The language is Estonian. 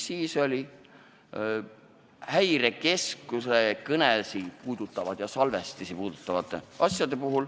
Siis oli Häirekeskuse kõneside salvestisi puudutav muudatus.